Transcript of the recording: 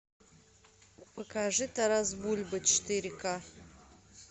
покажи тарас бульба четыре к